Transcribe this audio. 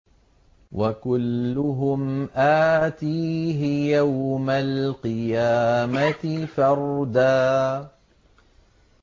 وَكُلُّهُمْ آتِيهِ يَوْمَ الْقِيَامَةِ فَرْدًا